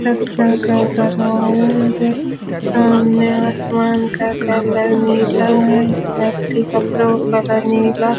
मुझे सामने आसमान का कलर नीला है व्यक्ति कपड़ों का नीला --